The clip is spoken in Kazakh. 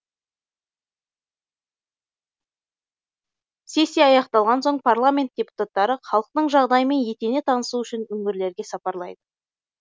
сессия аяқталған соң парламент депутаттары халықтың жағдайымен етене танысу үшін өңірлерге сапарлайды